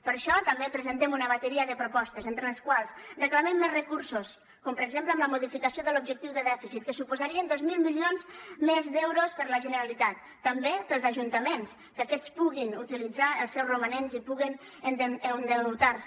per això també presentem una bateria de propostes entre les quals reclamem més recursos com per exemple amb la modificació de l’objectiu de dèficit que suposarien dos mil milions més d’euros per a la generalitat també per als ajuntaments que aquests puguin utilitzar els seus romanents i puguin endeutar se